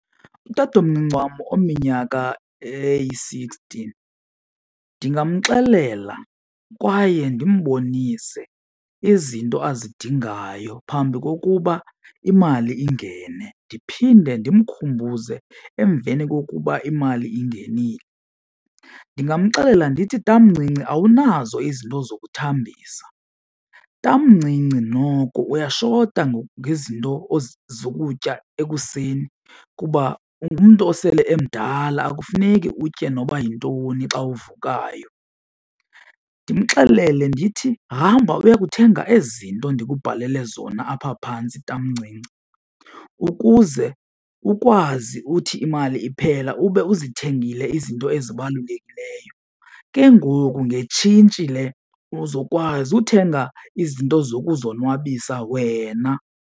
Utatomncinci wam ominyaka eyi-sixty ndingamxelela kwaye ndimbonise izinto azidingayo phambi kokuba imali ingene, ndiphinde ndimkhumbuze emveni kokuba imali ingenile. Ndingamxelela ndithi, tamncinci, awunazo izinto zokuthambisa. Tamncinci, noko uyashota ngezinto zokutya ekuseni kuba ungumntu osele emdala akufuneki utye noba yintoni xa uvukayo. Ndimxelele ndithi hamba uyokuthenga ezi zinto ndikubalele zona apha phantsi tamncinci ukuze ukwazi uthi imali iphela ube uzithengile izinto ezibalulekileyo, ke ngoku ngetshintshi le uzokwazi uthenga izinto zokuzonwabisa wena.